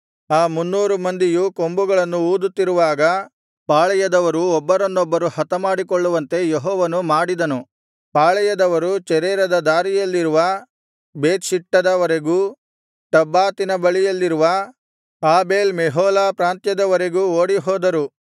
ಆ ಮುನ್ನೂರು ಮಂದಿಯು ಕೊಂಬುಗಳನ್ನು ಊದುತ್ತಿರುವಾಗ ಪಾಳೆಯದವರು ಒಬ್ಬರನ್ನೊಬ್ಬರು ಹತಮಾಡಿಕೊಳ್ಳುವಂತೆ ಯೆಹೋವನು ಮಾಡಿದನು ಪಾಳೆಯದವರು ಚೆರೇರದ ದಾರಿಯಲ್ಲಿರುವ ಬೇತ್‍ಷಿಟ್ಟದ ವರೆಗೂ ಟಬ್ಬಾತಿನ ಬಳಿಯಲ್ಲಿರುವ ಆಬೇಲ್ ಮೆಹೋಲಾ ಪ್ರಾಂತ್ಯದ ವರೆಗೂ ಓಡಿಹೋದರು